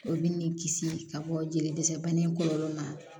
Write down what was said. Olu ni kisi ka bɔ jeli dɛsɛ banni kɔlɔlɔ ma